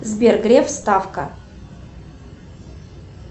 сбер греф ставка